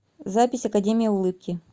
запись академия улыбки